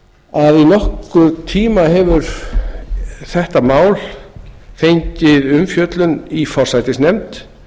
að í nokkurn tíma hefur þetta mál fengið umfjöllun í forsætisnefnd